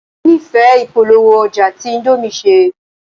Mo nífẹ̀ẹ́ ìpolówó-ọjà tí índómì ṣe.